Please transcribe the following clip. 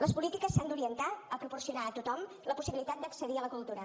les polítiques s’han d’orientar a proporcionar a tothom la possibilitat d’accedir a la cultura